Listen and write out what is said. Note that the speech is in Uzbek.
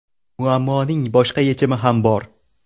Muammoning boshqa yechimi ham bor.